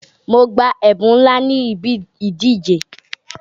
Mo gba ẹ̀bún ńlá níbi ìdíje.